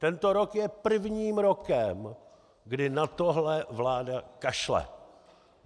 Tento rok je prvním rokem kdy na tohle vláda kašle.